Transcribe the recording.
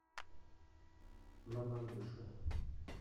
мамадышу